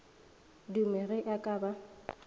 dume ge a ka ba